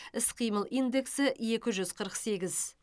іс қимыл индексі екі жүз қырық сегіз